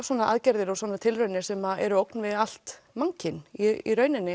svona aðgerðir og tilraunir sem eru ógn við allt mannkyn í rauninni